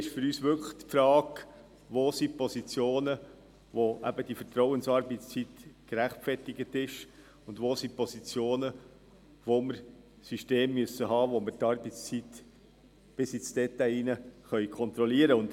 Das Kriterium ist für uns wirklich die Frage, welches die Positionen sind, bei denen eine Vertrauensarbeitszeit gerechtfertigt ist und bei welchen Positionen wir ein System brauchen, bei dem wir die Arbeitszeit bis ins Detail kontrollieren können.